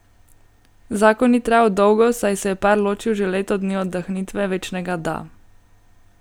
Zakon ni trajal dolgo, saj se je par ločil že leto dni od dahnitve večnega da.